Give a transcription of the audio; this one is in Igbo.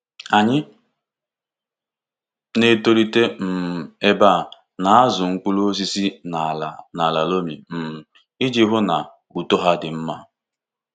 Anyị na-etolite um ebe a na-azụ mkpụrụ osisi n’ala n’ala loamy um iji hụ na uto ha dị mma.